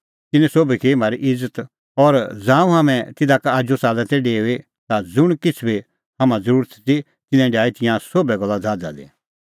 तिन्नैं सोभी की म्हारी इज़त और ज़ांऊं हाम्हैं तिधा का आजू च़ाल्लै तै डेऊई ता ज़ुंण किछ़ बी हाम्हां ज़रुरत ती तिन्नैं डाही तिंयां सोभै गल्ला ज़हाज़ा दी